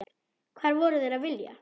Hvað voru þeir að vilja?